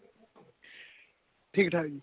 ਠੀਕ ਠਾਕ ਜੀ